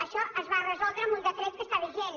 això es va resoldre amb un decret que està vi gent